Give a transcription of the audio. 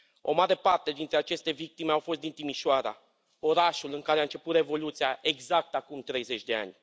O mare parte dintre aceste victime au fost din Timișoara, orașul în care a început Revoluția, exact acum 30 de ani.